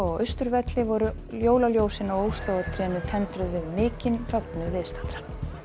Austurvelli voru jólaljósin á Óslóartrénu tendruð við mikinn fögnuð viðstaddra